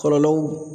Kɔlɔlɔw